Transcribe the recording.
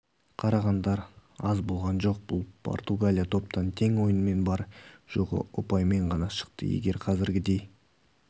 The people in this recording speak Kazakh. қарағандар аз болған жоқ бұл португалия топтан тең ойынмен бар-жоғы ұпаймен ғана шықты егер қазіргідей